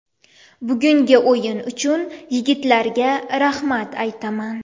Bugungi o‘yin uchun yigitlarga rahmat aytaman.